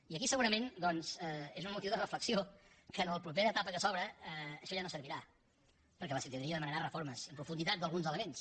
i aquí segurament doncs és un motiu de reflexió que en la propera etapa que s’obre això ja no servirà perquè la ciutadania demanarà reformes en profunditat d’alguns elements